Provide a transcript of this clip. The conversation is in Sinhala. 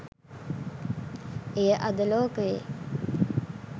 එය අද ලෝකයේ